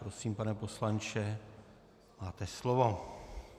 Prosím, pane poslanče, máte slovo.